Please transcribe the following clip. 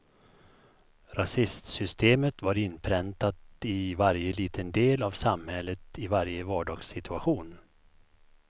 Rasistsystemet var inpräntat i varje liten del av samhället, i varje vardagssituation.